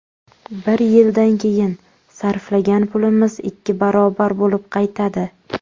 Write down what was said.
Bir yildan keyin sarflagan pulimiz ikki barobar bo‘lib qaytadi.